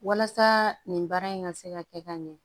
Walasa nin baara in ka se ka kɛ ka ɲɛ